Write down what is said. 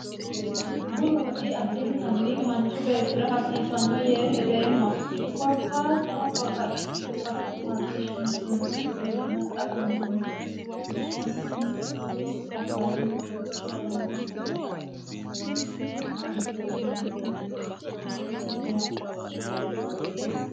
Buru woxi addintanni manchu heeshshora hasiissano yee hedeemma. korkaatuno babbaxitino basera marre shenteemmokki gede.